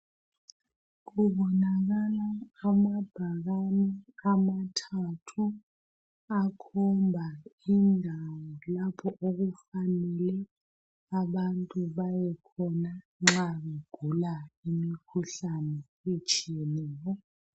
Kubonakala amabhakane amathathu akhomba indawo lapho okufanele abantu beyekhona nxa begula imikhuhlane etshiyeneyo.